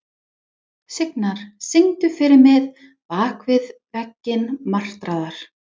Signar, syngdu fyrir mig „Bak við veggi martraðar“.